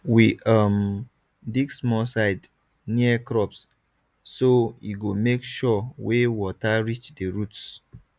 we um dig small side near crops so e go make sure way water reach the roots